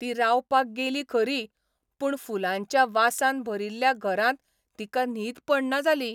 ती रावपाक गेली खरी, पूण फुलांच्या वासान भरिल्ल्या घरांत तिका न्हीद पडना जाली.